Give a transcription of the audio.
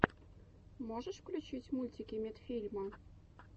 можешь включить мультики медфильма